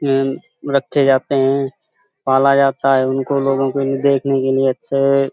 हेन रखे जाते हैं। पाला जाता है उनको। लोगों को देखने के लिए अच्छेे --